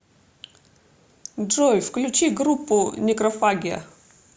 джой включи группу некрофагия